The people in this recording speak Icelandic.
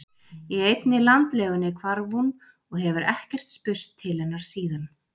Í einni landlegunni hvarf hún og hefur ekkert spurst til hennar síðan